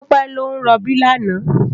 Tope lò n ròbí làná